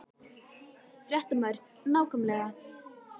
Fréttamaður: Nákvæmlega?